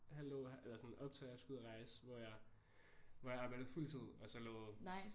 Halvt år eller sådan op til at jeg skulle ud og rejse hvor jeg hvor jeg arbejdede fuld tid og så lod